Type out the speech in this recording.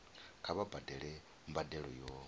kha vha badele mbadelo yo